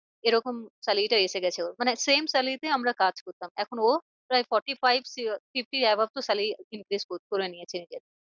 এরকম salary টা এসে গেছে ওর মানে same salary তে আমরা কাজ করতাম এখন ও প্রায় forty five fifty above তো salary increase করে নিয়েছে increase